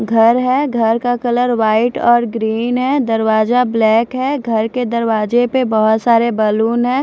घर है घर का कलर व्हाईट और ग्रीन है दरवाजा ब्लैक है घर के दरवाजे पे बहुत सारे बैलून हैं।